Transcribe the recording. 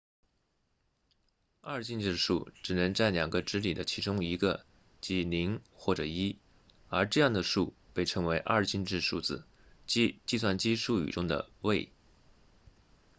二进制数只能占两个值里的其中一个即0或者1而这样的数被称为二进制数字即计算机术语中的位